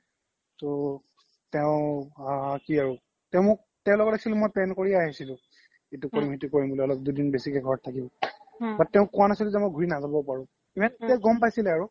তো তেও আ কি আৰু তেও মোক তেও লগত মই actually plan কৰিয়ে আহিছিলো ইতো কৰিম খিতো কৰিম বুলি অলপ দুদিন বেছিকে ঘৰত থাকিম বুলি but তেওক কুৱা নাচিলো যে মই ঘুৰি নাজাবও পাৰু গম পাইছিলে আৰু